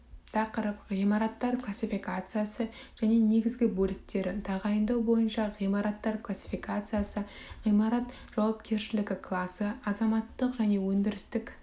тақырып ғимараттар классификациясы және негізгі бөліктері тағайындау бойынша ғимараттар классификациясы ғимарат жауапкершілігі класы азаматтық және өндірістік